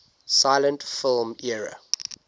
silent film era